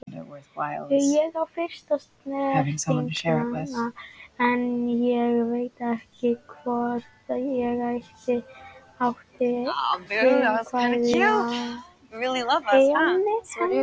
Ég átti fyrstu snertinguna en ég veit ekki hvort ég átti frumkvæðið að henni.